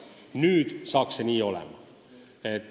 Nüüd saab see nii olema.